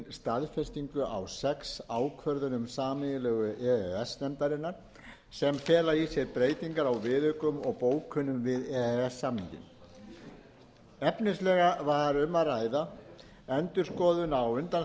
staðfestingu á sex ákvörðunum sameiginlegu e e s nefndarinnar sem fela í sér breytingar á viðaukum og bókunum við e e s samninginn efnislega var um að ræða endurskoðun á